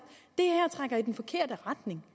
at i den forkerte retning